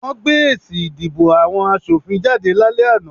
Wọ́n gbé èsì ìdìbò àwọn asòfin jáde lálẹ́ àná